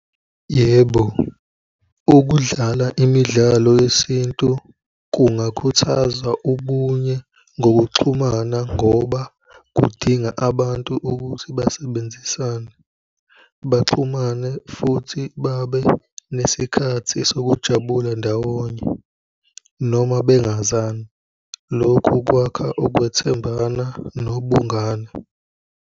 Yebo, ukudlala imidlalo yesintu kungakhuthaza ubunye ngokuxhumana, ngoba kudinga abantu ukuthi basebenzisane, baxhumane futhi babe nesikhathi sokujabula ndawonye noma bengazani. Lokhu kwakha ukwethembana nobungano.